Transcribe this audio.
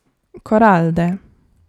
Koralde.